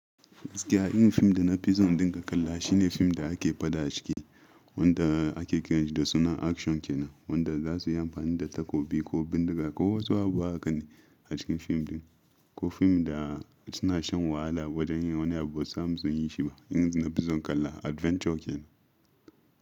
Gaskiya, irin fim da na fi son in dinga kalla shi ne fim da ake faɗa a ciki, wanda ake kiranshi da sunan action ke nan, wanda za su yi amfani da takobi ko bindiga ko wasu abu haka ne a cikin fim ɗin, ko fim da suna shan wahala wajan yin wani abu ba su samu sunyi shi ba. Injin da na fi son kalla adventure ke nan.